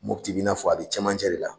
Mopti bi i n'a fɔ a be cɛmancɛ de la.